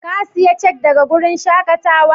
Ka siya cak daga wurin shakatawan?